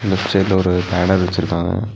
Left சைடுல ஒரு banner வச்சிருக்காங்க.